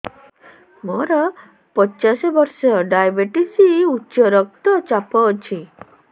ମୋର ପଚାଶ ବର୍ଷ ଡାଏବେଟିସ ଉଚ୍ଚ ରକ୍ତ ଚାପ ଅଛି